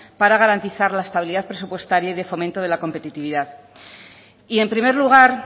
para garantizar la estabilidad presupuestaria y de fomento de la competitividad y en primer lugar